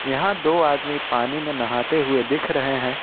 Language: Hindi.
यहां दो आदमी पानी में नहाते हुए दिख रहे हैं।